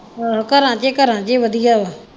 ਆਹੋ ਘਰਾਂ ਚ ਤੇ ਰਹਿੰਦੀਆਂ ਹੀ ਵਧੀਆ ਹੈ।